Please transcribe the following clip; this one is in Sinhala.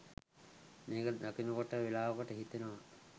මේක දකිනකොට වෙලාවකට හිතෙනව